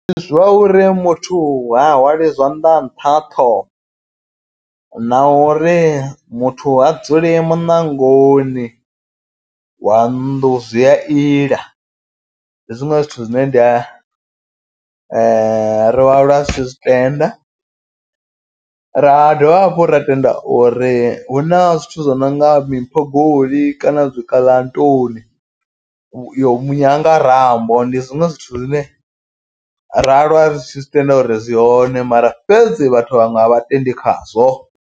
Ndi zwa uri muthu ha hwali zwanḓa nṱha ṱhoho. Na uri muthu a dzuli muṋangoni wa nnḓu zwi a ila. Ndi zwiṅwe zwithu zwine ndi ri wa lwa ri tshi zwi tenda ra dovha hafhu. Ra tenda uri hu na zwithu zwi nonga miphogoli kana dzi kaḽantoni yo munyangarambo. Ndi zwiṅwe zwithu zwine ra aluwa ri tshi zwi tenda uri zwi hone mara fhedzi vhaṅwe vhathu a vhatendi khazwo.